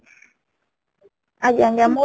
ଆଂଜ୍ଞା ଆଜ୍ଞା , ମୁଁ